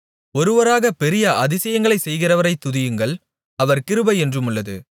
ஒருவராக பெரிய அதிசயங்களைச் செய்கிறவரைத் துதியுங்கள் அவர் கிருபை என்றுமுள்ளது